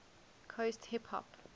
coast hip hop